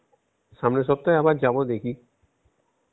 সামনের সপ্তাহে আবার যাব দেখি